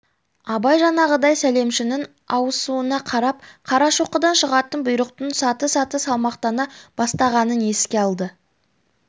абай жаңағыдай сәлемшінің ауысуына қарап қарашоқыдан шығатын бұйрықтың саты-саты салмақтана бастағанын еске алды